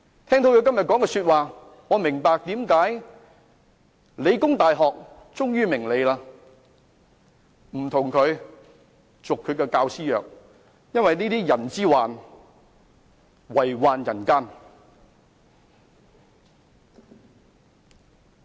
聽到他今天所說的話，我明白為何理工大學終於不與他續教師合約，因為這會遺害人間。